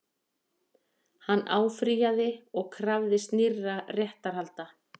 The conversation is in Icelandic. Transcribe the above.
Hann áfrýjaði og krafðist nýrra réttarhalda